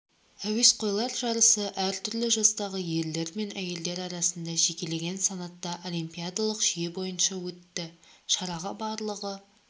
әуесқойлар жарысы әртүрлі жастағы ерлер және әйелдер арасында жекелеген санатта олимпиадалық жүйе бойынша өтті шараға барлығы